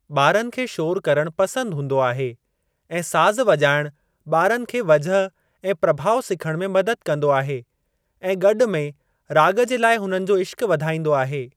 ॿारनि खे शोर करणु पसंद हूंदो आहे, ऐं साज़ वॼाइणु ॿारनि खे वजह ऐं प्रभाउ सिखणु में मददु कंदो आहे ऐं गॾु में राॻु जे लाइ हुननि जो इश्क़ु वधाईंदो आहे।